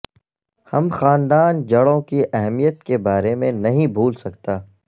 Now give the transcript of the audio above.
ہم خاندان جڑوں کی اہمیت کے بارے میں نہیں بھول سکتا